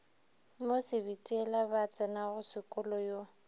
mo sebitiela ba tsenasekolo yo